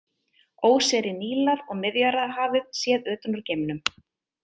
Óseyri Nílar og Miðjarðarhafið séð utan úr geimnum.